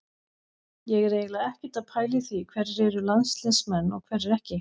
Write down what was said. Ég er eiginlega ekkert að pæla í því hverjir eru landsliðsmenn og hverjir ekki.